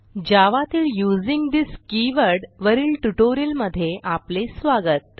जावा तील using this keyword वरील ट्युटोरियलमधे आपले स्वागत